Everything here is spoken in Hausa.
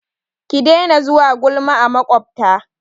Ki daina zuwa gulma a maƙwabta!